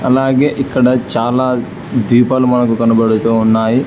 అలాగే ఇక్కడ చాలా ద్వీపాలు మనకు కనబడుతూ ఉన్నాయి.